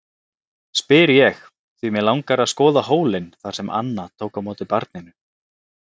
spyr ég, því mig langar að skoða hólinn þar sem Anna tók á móti barninu.